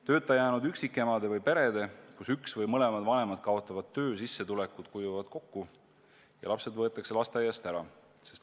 Tööta jäänud üksikemadel ja peredes, kus üks või mõlemad vanemad kaotavad töö, kuivavad sissetulekud kokku ja lapsed võetakse lasteaiast ära.